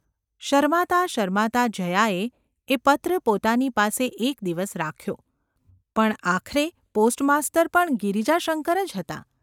શરમાતાં શરમાતાં જયાએ એ પત્ર પોતાની પાસે એક દિવસ રાખ્યો પણ આખરે પોસ્ટ માસ્તર પણ ગિરિજાશંકર જ હતા.